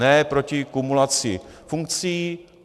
Ne proti kumulaci funkcí.